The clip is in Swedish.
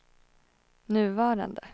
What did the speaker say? nuvarande